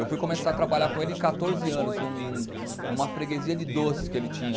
Eu fui começar a trabalhar com ele em quatorze anos, num numa freguesia de doces que ele tinha.